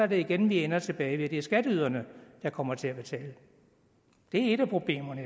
vi igen ender tilbage ved at det er skatteyderne der kommer til at betale det er et af problemerne